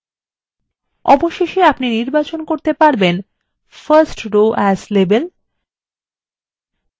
অবশেষে আপনি নির্বাচন করতে পারবেন